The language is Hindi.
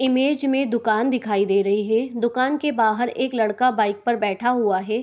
इमेज में दुकान दिखाई दे रही है दुकान के बाहर एक लड़का बाइक पर बैठा हुआ है।